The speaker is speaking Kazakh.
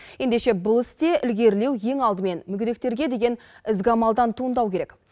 ендеше бұл істе ілгерілеу ең алдымен мүгедектерге деген ізгі амалдан туындауы керек